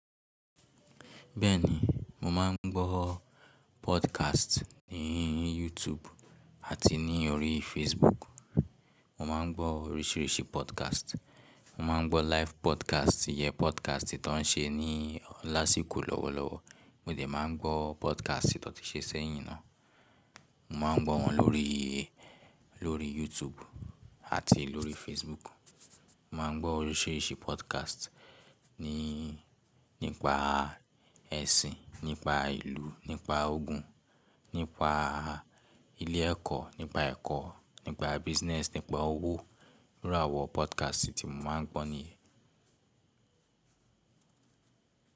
Bẹ́ẹ̀ni, mo máa ń gbọ́ podcast ní YouTube àti ní orí Facebook. Mo máa ń gbọ́ oríṣìíríṣìí podcast. Mo máa ń gbọ́ live podcast, iyẹn podcast tí wọ́n ń ṣe ní lásìkò lọ́wọ́lọ́wọ́, mo dẹ̀ máa ń gbọ́ podcast tí wọ́n ti ṣe sẹ́yìn náà. Mo máa ń gbọ́ wọn lórí, lórí YouTube àti lórí Facebook. Mo máa ń gbọ́ oríṣìíríṣìí podcast ní, nípa ẹ̀sìn, nípa ìlú, nípa ogun, nípa ilé ẹ̀kọ́, nípa ẹ̀kọ́, nípa business, nípa owó. Irú àwọn podcast tí mo máa ń gbọ́ nìyẹn.